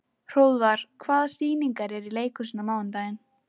Hróðvar, hvaða sýningar eru í leikhúsinu á mánudaginn?